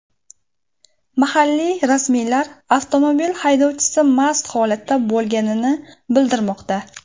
Mahalliy rasmiylar avtomobil haydovchisi mast holatda bo‘lganini bildirmoqda.